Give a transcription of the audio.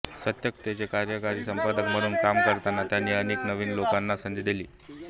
सत्यकथेचे कार्यकारी संपादक म्हणून काम करताना त्यांनी अनेक नवीन लेखकांना संधी दिली